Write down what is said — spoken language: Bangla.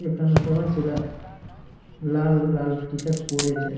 এখানে সবার ছিলা লাল লাল টি-শার্ট পড়েছে।